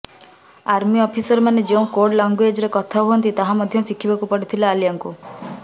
army ଅଫିସରମାନେ ଯେଉଁ code ଲାଙ୍ଗୁଏଜ୍ରେ କଥା ହୁଅନ୍ତି ତାହା ମଧ୍ୟ ଶିଖିବାକୁ ପଡ଼ିଥିଲା ଆଲିଆଙ୍କୁ